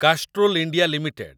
Castrol India limited